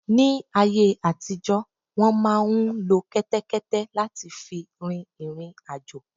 Ni áyé àtijọ́ wọ́n máà ń lo kẹ́tẹ́kẹ́té láti fi rin ìriǹ àjò.